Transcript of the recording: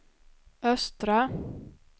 östra